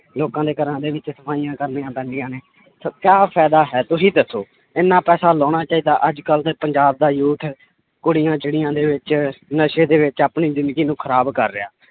ਲੋਕਾਂ ਦੇ ਘਰਾਂ ਦੇ ਵਿੱਚ ਸਫ਼ਾਈਆਂ ਕਰਨੀਆਂ ਪੈਂਦੀਆਂ ਨੇ ਸੋ ਕਿਆ ਫ਼ਾਇਦਾ ਹੈ ਤੁਸੀਂ ਦੱਸੋ, ਇੰਨਾ ਪੈਸਾ ਲਾਉਣਾ ਚਾਹੀਦਾ ਅੱਜ ਕੱਲ੍ਹ ਦੇ ਪੰਜਾਬ ਦਾ youth ਕੁੜੀਆਂ ਚਿੱੜੀਆਂ ਦੇ ਵਿੱਚ ਨਸ਼ੇ ਦੇ ਵਿੱਚ ਆਪਣੀ ਜ਼ਿੰਦਗੀ ਨੂੰ ਖ਼ਰਾਬ ਕਰ ਰਿਹਾ ਹੈ